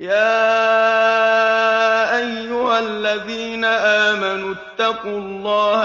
يَا أَيُّهَا الَّذِينَ آمَنُوا اتَّقُوا اللَّهَ